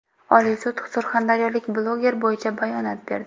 Oliy sud surxondaryolik bloger bo‘yicha bayonot berdi.